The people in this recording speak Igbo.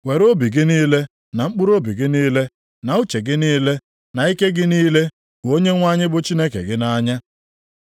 Were obi gị niile na mkpụrụobi gị niile na uche gị niile na ike gị niile hụ Onyenwe anyị bụ Chineke gị nʼanya.’ + 12:30 \+xt Dit 6:4,5\+xt*